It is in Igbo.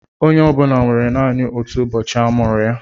Onye ọ bụla nwere naanị ọtụ ụbọchị a mụrụ ya.